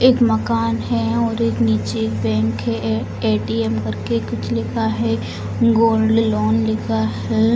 एक मकान है और नीचे एक बैंक है ए.टी.एम. कर के कुछ लिखा है गोल्ड लोन लिखा है।